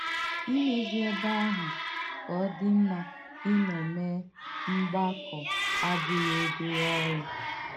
Ìmèzí èbè àhụ̀ kà ọ̀ dị̀ mma ìnọ́ mèé mgbàkọ̀ abụghị́ obere òrụ́.